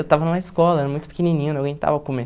Eu estava numa escola, era muito pequenininho, não aguentava comer.